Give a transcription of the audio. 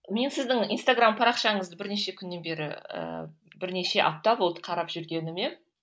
мен сіздің инстаграмм парақшаңызды бірнеше күннен бері ііі бірнеше апта болды қарап жүргеніме